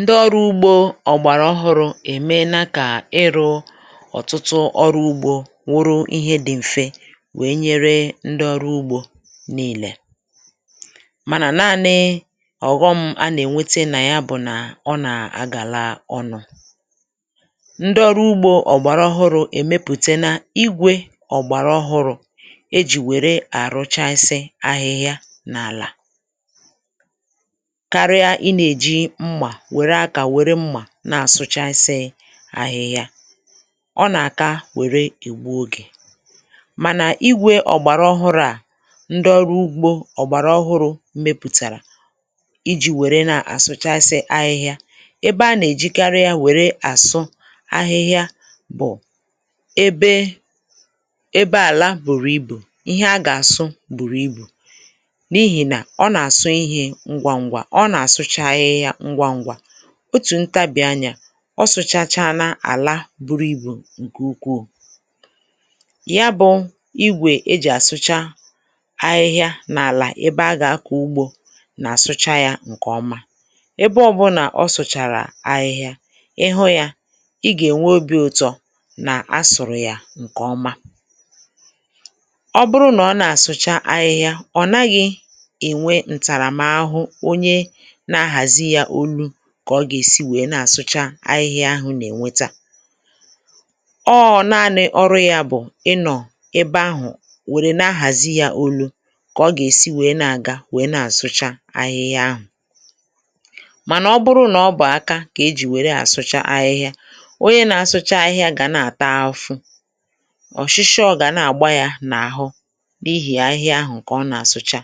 ndị ọrụ ugbȯ ọ̀gbàrà ọhụrụ̇ èmenàkà ịrụ̇ ọ̀tụtụ ọrụ ugbȯ nwụrụ ihe dị̇ m̀fe wèe nyere ndị ọrụ ugbȯ n’ìlè, mànà naȧnị̇ ọ̀ghọm a nà-ènwete nà ya bụ̀ nà ọ nà-àgàla ọnụ̇. ndị ọrụ ugbȯ ọ̀gbàrà ọhụrụ̇ èmepùtè na igwè ọ̀gbàrà ọhụrụ̇ e jì wère àrụ chasi ahịhịa n’àlà, wère akȧ wère mmà na-àsụchasị ahịhịa, ọ nà-àka wère ègbu ogè, mànà igwè ọ̀gbàrà ọhụrụ̇ a ndọru ugbo ọ̀gbàrà ọhụrụ̇ mmepùtàrà iji̇ wère na-àsụchasị ahịhịa. ebe a nà-èjikarị ya wère àsụ ahịhịa bụ̀ ebe àlà bùrù ibù ihe a gà-àsụ bùrù ibù, um n’ihì nà ọ nà-àsụ ihė ngwaǹgwa. otù ntabịa anyà, ọ sụchacha àlà àlà buru ibù, ǹkè ukwuù ya bụ̇ igwè e jì àsụcha ahịhịa n’àlà ebe a gà-akọ̀ ugbȯ. nà-àsụcha yȧ ǹkèọma. ebe ọbụ̇nà ọ sụ̀chàrà ahịhịa, ị hụ yȧ ị gà-ènwe obi̇ ụ̀tọ nà-asụ̀rụ̀ yȧ ǹkèọma. ọ bụrụ nà ọ nà-àsụcha ahịhịa, ọ̀ naghị̇ ènwe ǹtàràm ahụ̇ kà ọ gà-èsi wèe na-àsụcha ahịhịa ahụ̀ nà-ènweta à ọọ̇. na-anị̇ ọrụ yȧ bụ̀ ị nọ̀ ebe ahụ̀ wèrè na-ahàzi yȧ olu̇, kà ọ gà-èsi wèe na-àga wèe na-àsụcha ahịhịa ahụ̀. mànà ọ bụrụ nà ọ bụ̀ aka kà ejì wèe na-àsụcha ahịhịa, onye na-àsụcha ahịhịa gà na-àta afụfụ, ọ̀ shishi, ọ̀ gà na-àgba yȧ n’àhụ, n’ihì ahịhịa ahụ̀ kà ọ nà-àsụcha,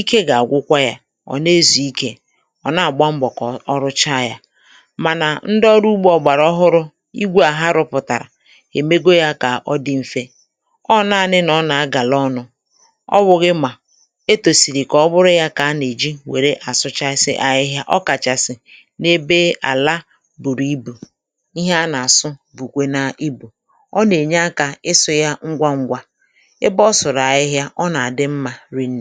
ike gà-àgwụkwa yȧ, ọ̀ na-ezùikė, ọ̀ na-àgba mbọ̀ kà ọ rụcha yȧ. mànà ndị ọrụ ugbȯ ọ̀gbàrà ọhụrụ̇, igwu̇ à ha rụ̇pụ̀tàrà, èmego yȧ kà ọ dị mfė. ọ na-anị nà ọ nà-agàla ọnụ̇, ọ wụ̀ghị̀ mmà e tòsìrì kà ọ bụrụ yȧ kà a nà-èji wère àsụchasị ahịhịa, ọ kàchàsị̀ n’ebe àlà bùrù ibù. ihe a nà-àsụ bùkwe na ibù, ọ nà-ènye akȧ, ị sụ yȧ ngwa ṅgwȧ, anà i naà gba ọkụ̀ na-arụ̀rụ̀ ihe dị̇ mmȧ. um nà-edè, ihe dị̇ mmȧ nà-edè, ihe dị̇ mmȧ n’anà, ihe dị̇ mmȧ n’àzọ̇, mmadu̇ mmȧ n’ọrụ ugbȯ, n’ụzọ dị ọcha nà nke ọma.